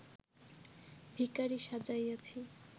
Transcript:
ভিখারী সাজাইয়াছি